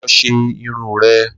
Lo̩ s̩e irun re̩!